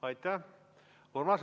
Aitäh!